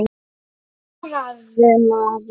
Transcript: Svaraðu maður.